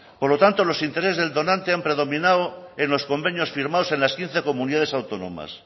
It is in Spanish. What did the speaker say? por lo tanto los intereses del donante han predominado en los convenios firmados en las quince comunidades autónomas